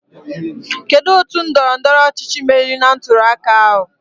Kedụ otu ndọrọ ndọrọ ọchịchị meriri na ntuli aka ahụ?